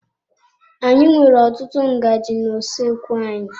Anyị nwere ọtụtụ ngaji na-usoekwu anyị.